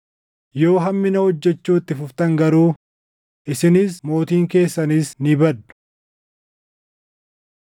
Yoo hammina hojjechuu itti fuftan garuu, isinis mootiin keessanis ni baddu.”